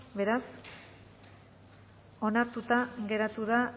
beraz onartuta geratu da